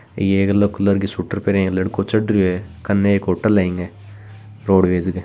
यह एक yellow colour के शूटर पहरिया एक लड़कों चढ़रियो है कने एक होटल है इके रोडवेज के।